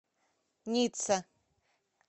ницца